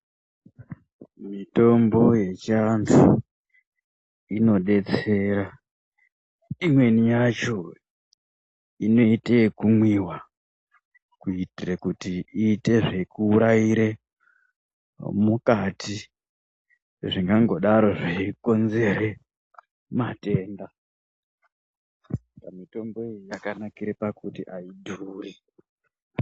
Mitombo yechiantu, inodetsera. Imweni yacho inoite ekumwiwa, kuitire kuti iite zvekuuraire mukati, zvingangodaro zveikonzere matenda. Mitombo iyi yakanakire pakuti aidhuri.